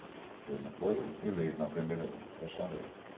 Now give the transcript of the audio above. Ele não foi eleito na primeira gestão dele.